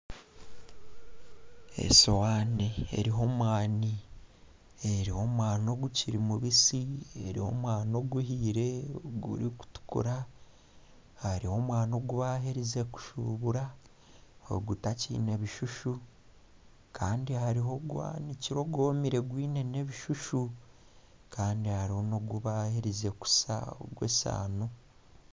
Esowani eriho omwani ogukiri mubusi, eriho omwani oguhiikire gurikutukura. Hariho omwani ogwaherize kushuburwa ogutakyine bishushu kandi hariho ogwanikire ogwomire ogwine n'ebishushu Kandi nogu baaherize kusa ogw'esaano.